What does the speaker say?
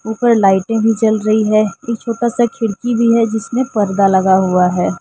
ऊपर लाइटिंग जल रही है। एक छोटा सा खिड़की भी है जिसमें पर्दा लगा हुआ है ।